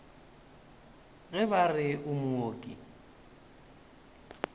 ge ba re o mooki